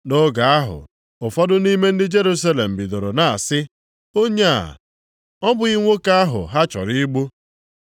Nʼoge ahụ, ụfọdụ nʼime ndị Jerusalem bidoro na-asị, “Onye a ọ bụghị nwoke ahụ ha chọrọ igbu?